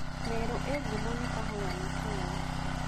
Meru ĩĩ ngumo nĩ kahũa na cai.